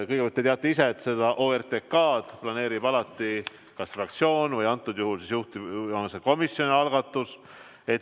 Kõigepealt, te teate ise, et seda ORTK-d planeerib alati kas fraktsioon või nagu antud juhul juhtivkomisjon.